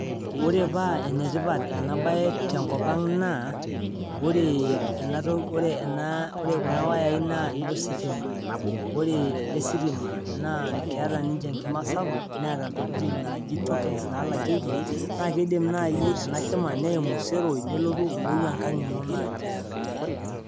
Ore paa enetipat enabae tenkop ang naa ore ena toki, ore kuna wayai naa inositima. Ore eele sitima neeta ninye enkima sapuk neeta ntokitin naaji tokens naalakieki naa keidim naaji enakima neimu iseroi nelotu omeyeu enkang ino